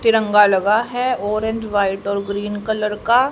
तिरंगा लगा है ऑरेंज वाइट और ग्रीन कलर का--